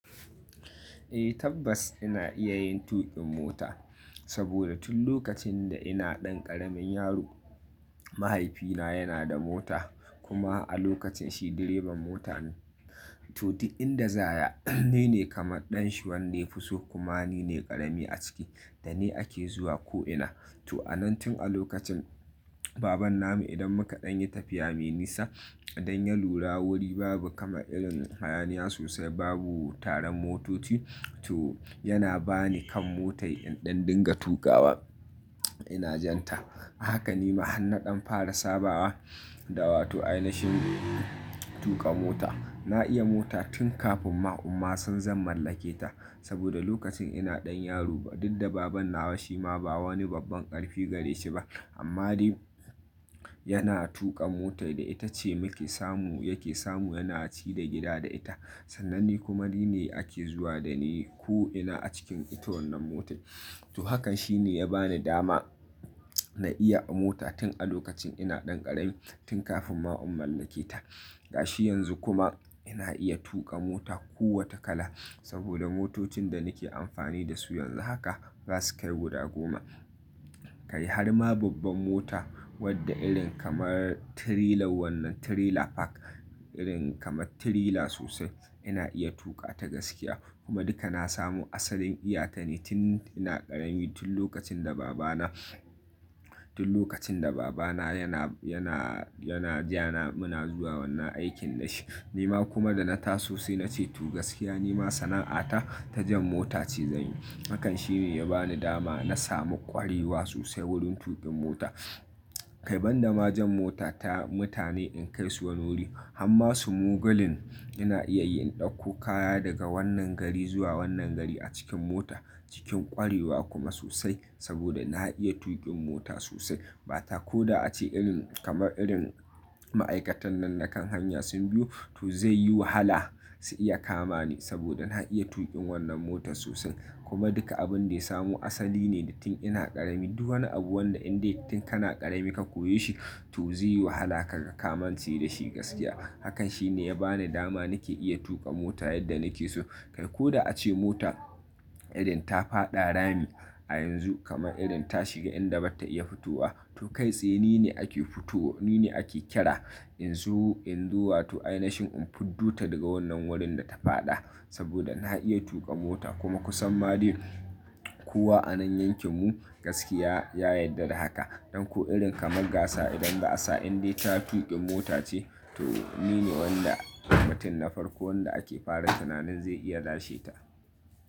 Eh tabbas ina iya yin tuƙin mota, saboda tun lokacin da ina ɗan ƙaramin yaro, mahaifina yana da mota kuma a lokacin shi direban mota ne. To duk in da zaya, ni ne kamar ɗan shi wanda ya fi so kuma ni ne ƙarami a ciki da ni ake zuwa ko ina. To a nan tun a lokacin, baban namu idan mukaɗan yi tafiya me nisa don ya lura wuri babu kama irin hayaniya sosai babu taron motoci, to yana ba ni kan motar yanda in dinga tuƙawa, ina jan ta. Haka nima hannaɗan fara saba da wato ainahen tuƙa mota. Na iya mota tun kafin ma' umma san zan mallake ta. Saboda lokacin ina ɗan yaro ba duk da baban nawa shi ma ba wani babban ƙarfi gare shi ba, amma dai yana tuƙa motar da ita ce muke samu yake samu yana ci da gida da ita. Sannan ni kuma ni ne ake zuwa da ni ko ina a cikin ita wannan motar. To hakan shi ne ya bani dama na iya mota tun a lokacin ina ɗan ƙarami tun kafin ma in mallake ta. Gashi yanzu kuma ina iya tuƙa mota ko wata kala saboda motocin da nake amfani da su yanzu haka ba su kai guda goma. Kai har ma babban mota wadda irin kamar tirilar wannan tirila fak, irin kamar tirila sosai ina iya tuƙa ta gaskiya kuma duka na samu asalin iyata ne tun ina ƙarami tun lokacin da babana, tun lokacin da babana yana, yana, yana ja na muna zuwa wannan aikin nashi. Nima kuma da na taso sai nace to gaskiya nima sana'ata ta jan mota ce zanyi. Hakan shi ne ya bani dama na samu ƙwarewa sosai wurin tuƙin mota. Kai banda ma jan mota ta mutane in kai su wani wuri, han ma sumugalin ina iya in ɗauko kaya daga wannan gari zuwa wannan gari a cikin mota cikin ƙwarewa kuma sosai saboda na iya tuƙin mota sosai. Bata ko da ace irin kama irin ma'aikatan nan na kan hanya sun biyo to zai yi wahala su iya kama ni saboda na iya tuƙin wannan motar sosai. Kuma duka abin da ya samu asali ne da tun ina ƙarami. Duk wani abu wanda in dai tun kana ƙarami ka koyi shi to zai yi wahala kaga kamance da shi gaskiya. Hakan shi ne ya bani dama nake iya tuƙa mota yadda nake so. Kai ko da ace mota irin ta faɗa rami a yanzu kama irin ta shiga inda bata iya futuwa, to kai sai ni ne ake futo ni ne ake kira in zu-in zuwa to ainashen in fiddu ta daga wannan wurin da ta faɗa saboda na iya tuƙa mota. Kuma ku san ma dai kowa a nan yankin mu gaskiya ya yarda da haka. Don ko irin kama gasa idan ba'a sa indai ta tuƙi mota ce to ni ne wanda mutum na farko wanda ake fara tunanin zai iya lashe ta.